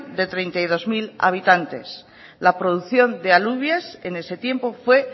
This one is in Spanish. de treinta y dos mil habitantes la producción de alubias en ese tiempo fue